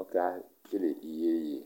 ɔke kele iyeyi